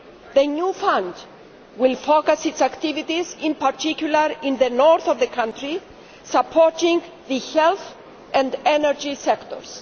The new fund will focus its activities in particular in the north of the country, supporting the health and energy sectors.